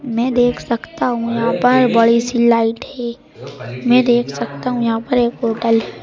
मैं देख सकता हूं यहां पर बड़ी सी लाइट है मैं देख सकता हूं यहां पर एक होटल --